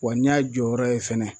Wa n'i y'a jɔyɔrɔ ye fɛnɛ